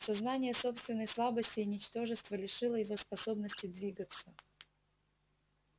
сознание собственной слабости и ничтожества лишило его способности двигаться